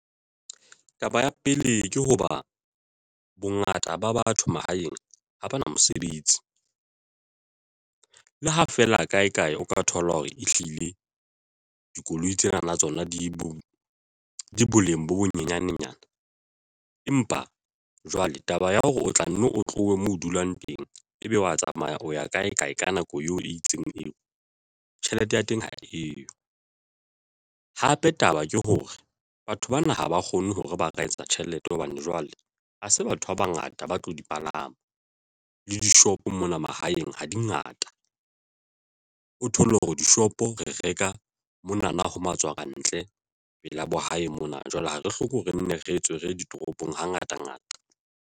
Taba ya pele, ke hoba bongata ba batho mahaeng ha bana mosebetsi. Le ha feela kae kae o ka thola hore ehlile dikoloi tsena tsona di bo boleng bo bonyanenyana ng. Empa jwale taba ya hore o tla nne o tlohe mo ho dulang teng, ebe wa tsamaya o ya kae kae ka nako eo e itseng eo tjhelete ya teng ha eyo. Hape, taba ke hore batho bana ha ba kgone hore ba ka etsa tjhelete hobane jwale ha se batho ba bangata ba tlo di palama le dishopo mona mahaeng ha di ngata. O thole hore dishopo re reka mona na ho matswantle pela bo hae mona. Jwale ha re hloko re nne re tswe re ye ditoropong hangata ngata.